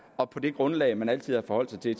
og på det grundlag man altid har forholdt sig til i